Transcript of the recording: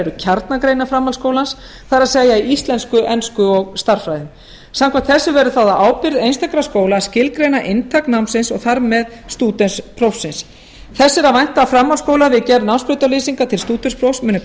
eru kjarnagreinar framhaldsskólans það er íslensku ensku og stærðfræði samkvæmt þessu verður það á ábyrgð einstakra skóla að skilgreina inntak námsins og þar með stúdentsprófsins þess er að vænta að framhaldsskólar á gerð námsbrautarlýsinga til stúdentsprófs muni